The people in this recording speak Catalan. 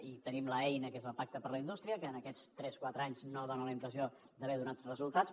i tenim l’eina que és el pacte per a la indústria que en aquests tres o quatre anys no dona la impressió d’haver donat resultats